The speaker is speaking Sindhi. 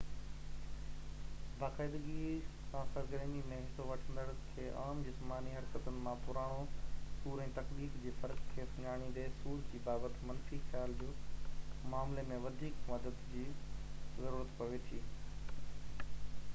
باقاعدگي سان سرگرمي ۾ حصو وٺندڙن کي عام جسماني حرڪتن مان پراڻو سور ۽ تڪليف جي فرق کي سڃاڻيندي سور جي بابت منفي خيال جي معاملي ۾ وڌيڪ مدد جي ضرورت پوي ٿي